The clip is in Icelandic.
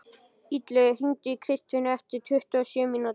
Illugi, hringdu í Kristfinnu eftir tuttugu og sjö mínútur.